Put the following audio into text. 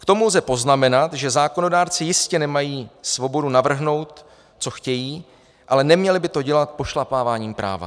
K tomu lze poznamenat, že zákonodárci jistě nemají svobodu navrhnout, co chtějí, ale neměli by to dělat pošlapáváním práva.